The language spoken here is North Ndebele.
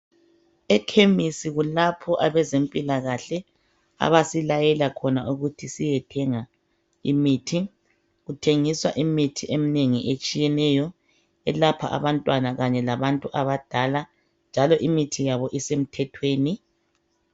Ekhemisi kulapho abezempilakahle abasilayela khona ukuthi siyethenga imithi. Kuthengiswa imithi eminengi etshiyeneyo eyelapha abantwana labadala njalo imithi yabo isemthethweni.